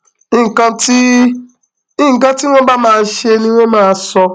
nǹkan tí nǹkan tí wọn bá máa ṣe ni wọn máa sọ